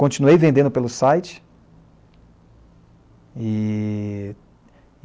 Continuei vendendo pelo site. E